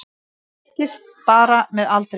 Hann styrkist bara með aldrinum